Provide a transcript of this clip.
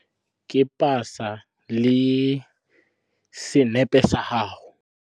Ke pasa le senepe sa gago.